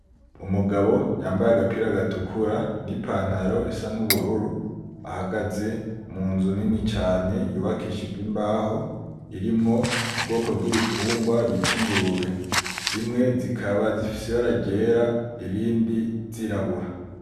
Umugabo yambaye agapira gatukura nipantaro isa nubururu ahagaze munzu nini cane yubakishijwe imbaho irimwo ubwoko bwibitungwa bita ingurube. Zimwe zikaba zifise ibara ryera izindi zirabura.